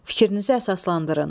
Fikrinizi əsaslandırın.